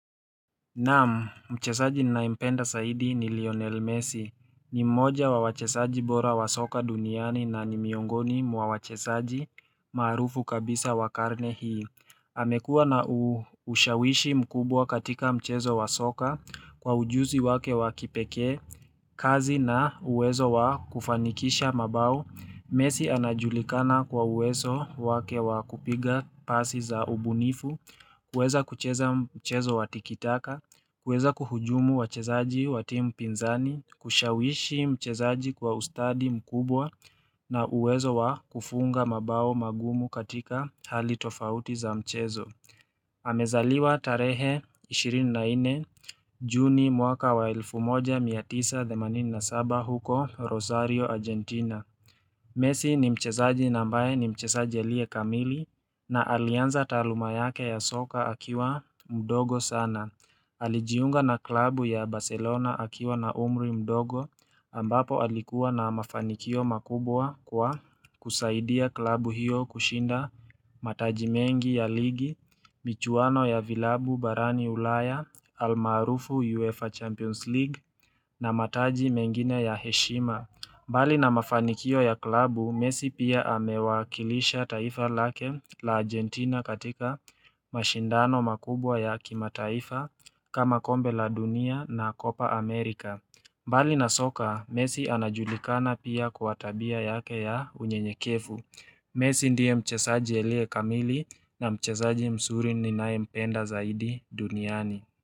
Namu mchezaji ninaimpenda saidi ni Lionel Messi ni mmoja wa wachezaji bora wa soka duniani na ni miongoni mwa wachezaji maarufu kabisa wa karne hii amekua na ushawishi mkubwa katika mchezo wa soka kwa ujuzi wake wa kipeke kazi na uwezo wa kufanikisha mabao Messi anajulikana kwa uwezo wake wakupiga pasi za ubunifu kuweza kucheza mchezo watikitaka kuweza kuhujumu wachezaji wa timu pinzani, kushawishi mchezaji kwa ustadi mkubwa na uwezo wa kufunga mabao magumu katika hali tofauti za mchezo. Amezaliwa tarehe 24 juni mwaka wa 1987 huko Rosario, Argentina. Messi ni mchezaji na ambaye ni mchezaji alie kamili na alianza taaluma yake ya soka akiwa mdogo sana. Alijiunga na klabu ya Barcelona akiwa na umri mdogo ambapo alikuwa na mafanikio makubwa kwa kusaidia klabu hiyo kushinda mataji mengi ya ligi, michuano ya vilabu barani ulaya, almaarufu UEFA Champions League na mataji mengine ya heshima. Mbali na mafanikio ya klabu, messi pia amewakilisha taifa lake la Argentina katika mashindano makubwa ya kimataifa kama kombe la dunia na kopa Amerika. Mbali na soka, messi anajulikana pia kwa tabia yake ya unyenyekevu. Messi ndiye mchesaji alie kamili na mchezaji mzuri ninae mpenda zaidi duniani.